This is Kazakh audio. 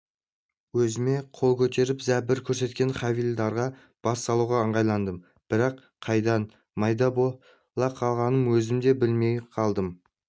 өзіме қол көтеріп зәбір көрсеткен хавильдарға бас салуға ыңғайландым бірақ қайдан майда бола қалғанын өзім де білмей қалдым